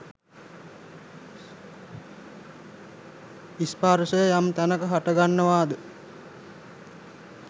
ස්පර්ශය යම් තැනක හටගන්නවාද